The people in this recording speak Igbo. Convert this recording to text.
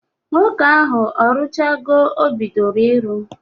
Nwoke ahụ ọ rụchago o bidoro ịrụ kemgbe?